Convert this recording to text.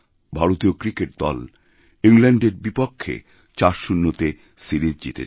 ভারতীয় ক্রিকেট দল ইংলণ্ডের বিপক্ষে ৪০তেসিরিজ জিতেছে